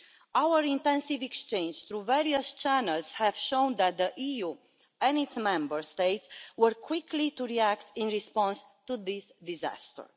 Our intensive exchanges through various channels have shown that the EU and its Member States were quick to react in response to this disaster.